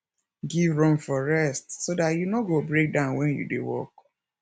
give room for rest so dat you no go breakdown when you dey work